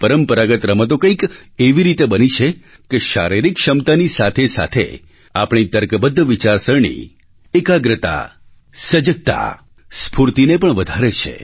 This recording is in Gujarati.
પરંપરાગત રમતો કંઈક એવી રીતે બની છે કે શારીરિક ક્ષમતાની સાથેસાથે આપણી તર્કબદ્ધ વિચારસરણી એકાગ્રતા સજગતા સ્ફૂર્તિને પણ વધારે છે